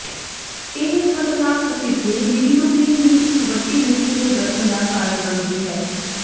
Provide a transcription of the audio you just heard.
ਇਹ ਖਤਰਨਾਕ ਅਸਿੱਧੇ ਬਿਲੀਰੂਬਿਨ ਦੀ ਇੱਕ ਵੱਡੀ ਗਿਣਤੀ ਦੇ ਗਠਨ ਦਾ ਕਾਰਨ ਬਣਦੀ ਹੈ